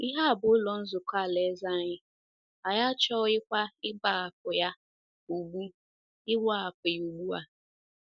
Ihe a bụ Ụlọ Nzukọ Alaeze anyị, anyị achọghịkwa ịgbahapụ ya ugbu ịgbahapụ ya ugbu a. ”